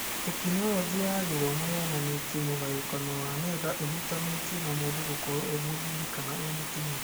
Tekinoronjĩ ya Gĩthomo yonanĩtie mũgayũkano wa nenda ĩhutanĩtie na mũndũ gũkorwo e-mũthuri kana e-mũtumia.